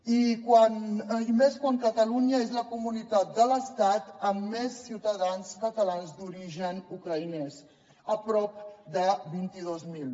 i més quan catalunya és la comunitat de l’estat amb més ciutadans catalans d’origen ucraïnès prop de vint dos mil